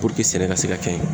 sɛnɛ ka se ka kɛ